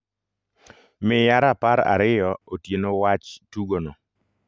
Miya rapar ariyo otieno wach tugo no.